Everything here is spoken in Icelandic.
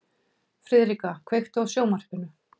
Friðrika, kveiktu á sjónvarpinu.